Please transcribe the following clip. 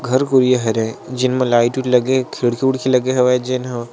घर कुरिया हरय जिन म लाइट उट लगे हे खिड़की उड़खी लगे हवय जेन ह--